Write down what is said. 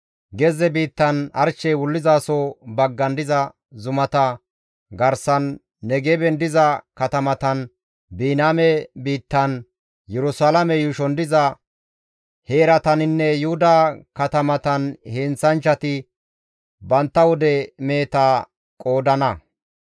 Gezze biittan, arshey wullizaso baggan diza zumata garsan, Negeben diza katamatan, Biniyaame biittan, Yerusalaame yuushon diza heerataninne Yuhuda katamatan heenththanchchati bantta wude meheta qoodana.